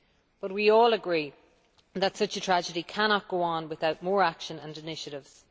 But we all agree that such a tragedy cannot go on without more action and initiatives.